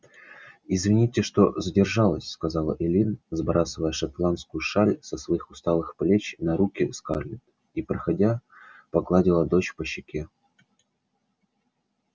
извините что задержалась сказала эллин сбрасывая шотландскую шаль со своих усталых плеч на руки скарлетт и проходя погладила дочь по щеке